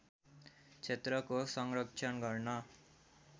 क्षेत्रको संरक्षण गर्न